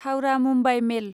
Howrah Mumbai मेल